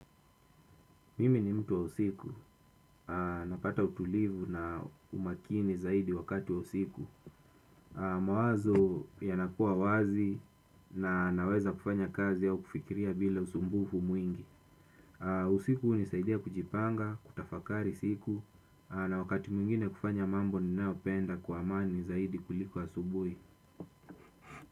Mimi ni mtu wa usiku, napata utulivu na umakini zaidi wakati wa usiku. Mawazo yanakua wazi na naweza kufanya kazi au kufikiria bila usumbufu mwingi. Usiku husaidia kujipanga, kutafakari siku. Na wakati mwingine kufanya mambo ninayopenda kwa amani zaidi kuliko asubuhi.